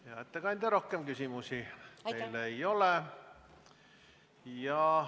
Hea ettekandja, rohkem küsimusi teile ei ole.